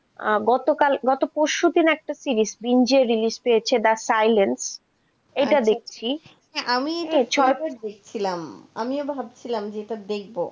আহ গতকাল গত পরশু দিন একটা series যে release পেয়েছে, the silent দেখছি, আমিও ভাবছিলাম এটা দেখব,